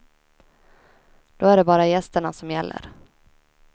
Då är det bara gästerna som gäller.